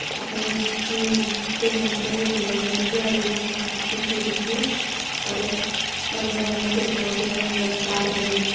--और गणेश जी की दो मूर्तिये भी लगी हुई है और रेड कलर की इसकी गेट भी है और अगल बगल मे पेड़ पोधे है तार भी है।